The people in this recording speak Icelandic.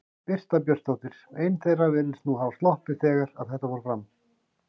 Birta Björnsdóttir: Ein þeirra virðist nú hafa sloppið þegar að þetta fór fram?